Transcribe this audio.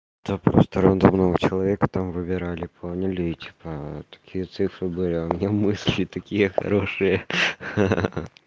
да просто рандомного человека там выбирали по аналитика такие цифры были а у меня мысли такие хорошие ха ха